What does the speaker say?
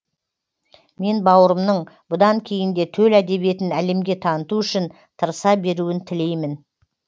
мен бауырымның бұдан кейін де төл әдебиетін әлемге таныту үшін тырыса беруін тілеймін